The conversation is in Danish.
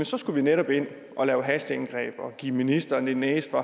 så skulle vi netop ind og lave hasteindgreb og give ministeren en næse for